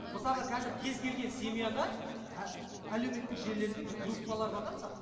мысалға қазір кез келген семьяда әлеуметтік желілерінде бір группалар бар да мысалы